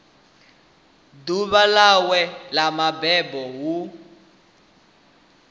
ḓuvha ḽawe ḽa mabebo hu